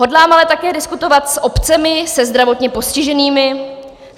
Hodlám ale také diskutovat s obcemi, se zdravotně postiženými.